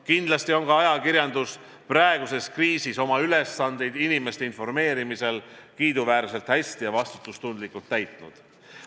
Kindlasti on ka ajakirjandus praeguses kriisis oma ülesandeid inimeste informeerimisel kiiduväärselt hästi ja vastutustundlikult täitnud.